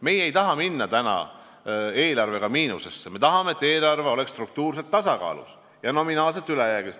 Meie ei taha minna eelarvega miinusesse, me tahame, et eelarve oleks struktuurselt tasakaalus ja nominaalselt ülejäägis.